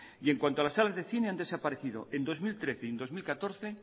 y en cuanto a las salas de cine han desaparecido en dos mil trece y en dos mil catorce